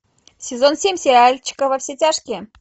сезон семь сериальчика во все тяжкие